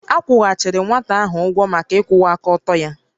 A kwụghachiri nwata ahụ ụgwọ maka ịkwụwa aka ọtọ ya